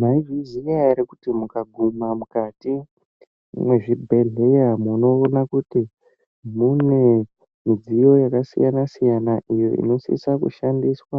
Maizviziya ere kuti mukaguma mukati mwezvibhedhleya munoona kuti mune midziyo yakasiyana-siyana, iyo inosisa kushandiswa